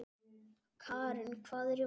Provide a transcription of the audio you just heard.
Karin, hvað er í matinn?